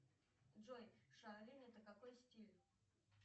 джой шаолинь это какой стиль